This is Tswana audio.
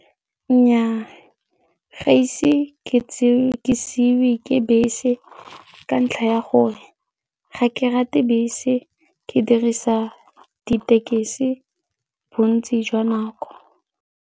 Nnyaa, ga ise ke siiwe ke bese ka ntlha ya gore ga ke rate bese, ke dirisa ditekesi bontsi jwa nako.